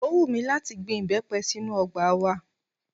Ó wùn mí láti gbin ìbẹ́pẹ sínú ọgbà wa